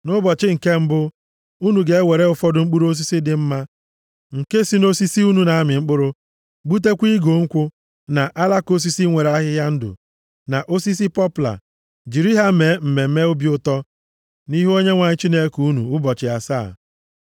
Nʼụbọchị nke mbụ, unu ga-ewere ụfọdụ mkpụrụ osisi dị mma nke si nʼosisi unu na-amị mkpụrụ, gbutekwa igu nkwụ, na alaka osisi nwere ahịhịa ndụ, na osisi pọpla, jiri ha mee mmemme obi ụtọ nʼihu Onyenwe anyị Chineke unu ụbọchị asaa.